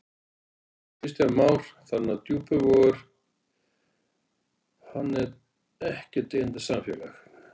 Kristján Már: Þannig að Djúpivogur, hann er ekkert deyjandi samfélag?